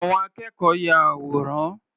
Àwọn akẹ́kọ̀ọ́ ya àwòrán.